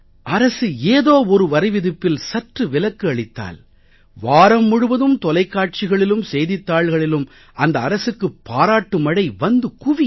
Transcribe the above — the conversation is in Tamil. அரசு ஏதோ ஒரு வரிவிதிப்பில் சற்று விலக்கு அளித்தால் வாரம் முழுவதும் தொலைக்காட்சிகளிலும் செய்தித் தாள்களிலும் அந்த அரசுக்கு பாராட்டு மழை வந்து குவியும்